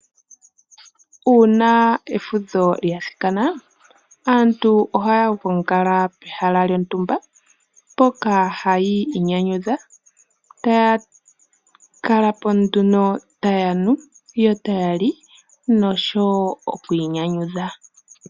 Uuna eudho lya thikana aantu ohaya gongala pehala yontumba mpoka hayi inyanyudha taya kalapo tayanu yotaya li noku inyanyudha.